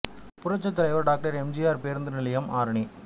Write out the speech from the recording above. புரட்சித் தலைவர் doctor M G R பேருந்து நிலையம் ஆரணி